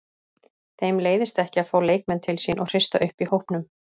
Þeim leiðist ekki að fá leikmenn til sín og hrista upp í hópnum.